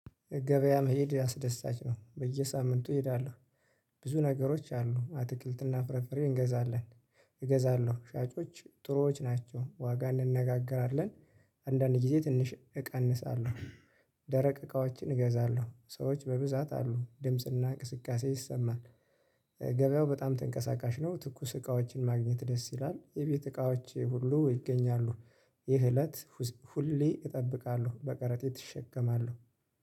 ገበያ መሄድ አስደሳች ነው በየሳምንቱ እሄዳለሁ። ብዙ ነገሮች አሉ አትክልትና ፍርፍሬ እንገዛለን። እገዛለሁ ሻጮች ጥሩዎች ናቸው ዋጋ እንነጋገራለን። አንዳንድ ጊዜ ትንሽ እቀንሳለሁ። ደረቅ እቃዎችን እገዛለሁ ሰዎች በብዛት አሉ ድምጽና እንቅስቃሴ ይሰማል። ገብያው በጣም ተንቀሳቃሽ ነው። ትኩስ እቃዎችን ማግኘት ደስ ይላል የቤት እቃዎች ሁሉ ይገኛሉ። ይህ እለት ሁሌ እጠብቃለሁ በቀረጤት እሸከማለሁ።